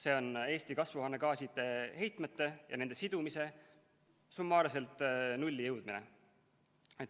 See on Eesti kasvuhoonegaaside heitmete ja nende sidumise summaarselt nulli jõudmine.